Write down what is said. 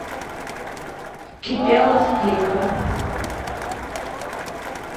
кипелов клипы